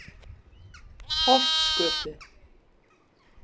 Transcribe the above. Holtsgötu